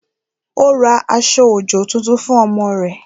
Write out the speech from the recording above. Ó ra aṣọ-òjò tuntun fún ọmọ rẹ̀